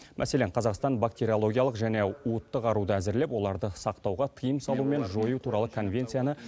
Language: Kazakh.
мәселен қазақстан бактериологиялық және уытты қаруды әзірлеп оларды сақтауға тыйым салу мен жою туралы конвенцияны